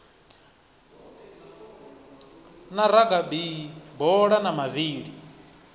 na ragabi bola na mavili